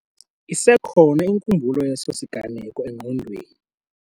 Isekhona inkumbulo yeso siganeko engqondweni.